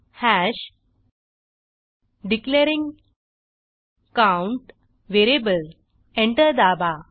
hash declaring count variable enter दाबा